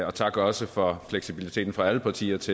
og tak også for fleksibiliteten fra alle partiers